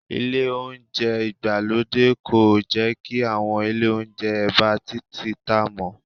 Ile Ohunjẹ́ ìgbàlódé kò jẹ́ kí àwọn ilé Ohunjẹ́ ẹ̀bá títì tá mọ́